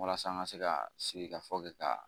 Walasa n ka se ka sigi ka ka